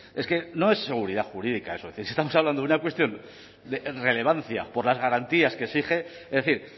es que no es seguridad jurídica eso es que estamos hablando de una cuestión de relevancia por las garantías que exige es decir